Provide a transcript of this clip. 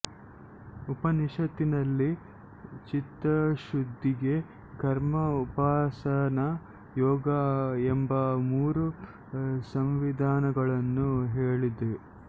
ಉಪನಿಷತ್ತಿನಲ್ಲಿ ಚಿತ್ತಶುದ್ಧಿಗೆ ಕರ್ಮ ಉಪಾಸನಾ ಯೋಗ ಎಂಬ ಮೂರು ಸಂವಿಧಾನಗಳನ್ನು ಹೇಳಿದೆ